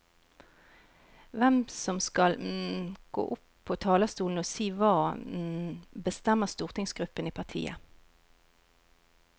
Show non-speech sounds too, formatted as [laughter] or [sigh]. Hvem som skal [hesitation] gå opp på talerstolen og si hva, [hesitation] bestemmer stortingsgruppen i partiet.